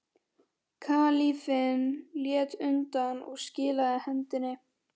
Kalífinn lét undan og skilaði hendinni.